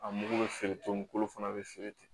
A mugu bɛ feere togo min kolo fana bɛ feere ten